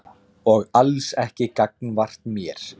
Og alls ekki gagnvart mér.